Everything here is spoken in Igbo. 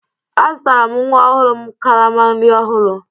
Azụtara m nwa ọhụrụ m karama nri ọhụrụ